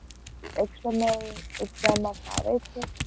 External exam માં ફાવે છે?